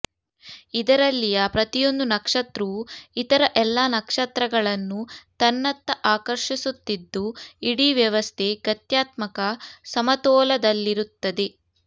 ಇದರಲ್ಲಿಯ ಪ್ರತಿಯೊಂದು ನಕ್ಷತ್ರುವೂ ಇತರ ಎಲ್ಲ ನಕ್ಷತ್ರಗಳನ್ನೂ ತನ್ನತ್ತ ಆಕರ್ಷಿಸುತ್ತಿದ್ದು ಇಡೀ ವ್ಯವಸ್ಥೆ ಗತ್ಯಾತ್ಮಕ ಸಮತೋಲದಲ್ಲಿರುತ್ತದೆ